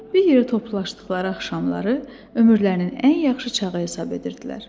Bir yerə toplaşdıqları axşamları ömürlərinin ən yaxşı çağı hesab edirdilər.